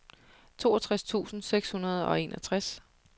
toogtres tusind seks hundrede og enogtres